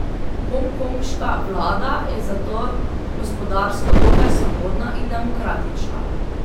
Hongkonška vlada je zato gospodarsko dokaj svobodna in demokratična.